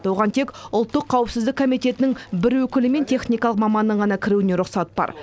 оған тек ұлттық қауіпсіздік комитетінің бір өкілі мен техникалық маманның ғана кіруіне рұқсат бар